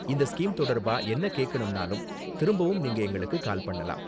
இந்த ஸ்கீம் தொடர்பா என்ன கேக்கணும்னாலும் திரும்பவும் நீங்க எங்களுக்கு கால் பண்ணலாம்.